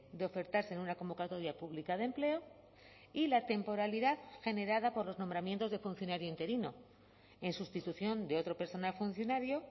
de ofertarse en una convocatoria pública de empleo y la temporalidad generada por los nombramientos de funcionario interino en sustitución de otro personal funcionario